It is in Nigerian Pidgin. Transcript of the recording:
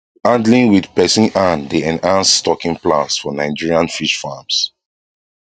handling with person hand dey enhance stocking plans for nigerian fish farms